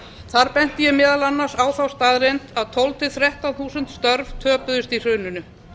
þar benti ég meðal annars á þá staðreynd að tólf til þrettán þúsund störf töpuðust í hruninu